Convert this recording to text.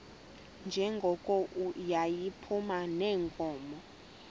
njengoko yayiphuma neenkomo